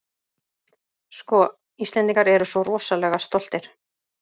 Sko, Íslendingar eru svo rosalega stoltir.